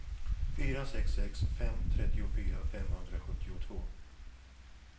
fyra sex sex fem trettiofyra femhundrasjuttiotvå